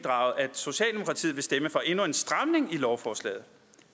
socialdemokratiet vil stemme for endnu en stramning i lovforslaget